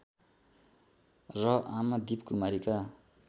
र आमा दीपकुमारीका